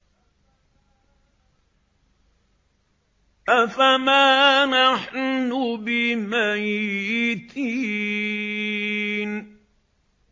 أَفَمَا نَحْنُ بِمَيِّتِينَ